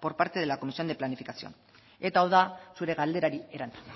por parte de la comisión de planificación eta hau da zure galderari erantzuna